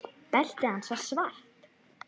Beltið hans var svart.